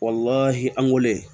an wolo